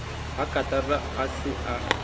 ha rakatara a se a